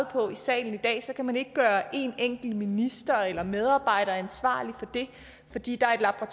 på i salen i dag kan man ikke gøre en enkelt minister eller medarbejder ansvarlig for det fordi der er